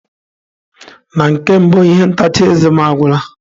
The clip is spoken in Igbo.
Na nke mbụ, ihe ntacha eze m agwụla.